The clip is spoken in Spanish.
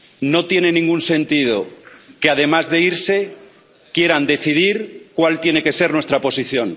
No tiene ningún sentido que, además de irse, quieran decidir cuál tiene que ser nuestra posición.